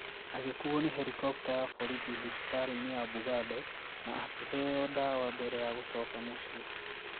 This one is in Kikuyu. Agĩkuo nĩ helikopta ya borithi thibitarĩ-inĩ ya Bugando na akĩheo ndawa mbere ya gũcoka mũciĩ.